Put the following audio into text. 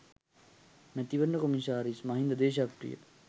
මැතිවරණ කොමසාරිස් මහින්ද දේශප්‍රිය